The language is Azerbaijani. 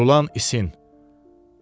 Qurulan isin.